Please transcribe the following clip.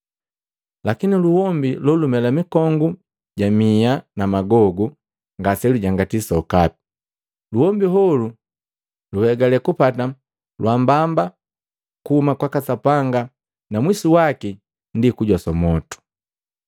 Lakini luombi na lumela mikongu ja miha na magogu ngase lujangati sokapi; luhombi holu luhegale kupata lwaambamba kuhuma kwaka Sapanga na mwisu waki ndi kujoswa mwotu.